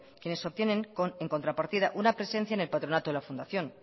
quienes obtienen en contrapartida una presencia en el patronato de la fundación